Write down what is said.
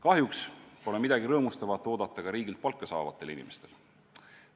Kahjuks pole midagi rõõmustavat oodata ka riigilt palka saavatel inimestel.